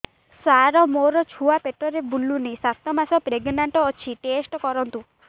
ସାର ମୋର ଛୁଆ ପେଟରେ ବୁଲୁନି ସାତ ମାସ ପ୍ରେଗନାଂଟ ଅଛି ଟେଷ୍ଟ କରନ୍ତୁ